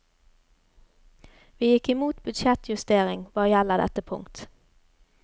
Vi gikk imot budsjettjustering hva gjelder dette punkt.